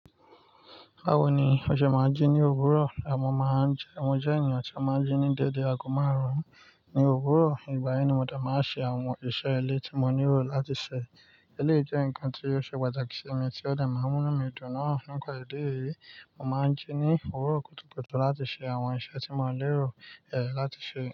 Báwo ni ó ṣe máa ń jí ní òwúrọ̀, àmọ́ máa ń jẹ́? Mo jẹ́ ènìyàn tí ó máa ń jí ní dédé ago márùn-ún ní òwúrọ̀. Ìgbà yẹn ni mo dà máa ṣe àwọn iṣẹ́ ilé tí mo nílò láti ṣe. Eléyìí jẹ́ nǹkan tí yóò ṣe pàtàkì sí mi tí ó dà máa mú mí dùn náà. Nípa ìdí éyìí, mo máa ń jí ní òwúrọ̀ kùtùkùtù láti ṣe àwọn iṣẹ́ tí mo lérò, ẹ́, láti ṣe.